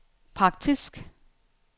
praktisk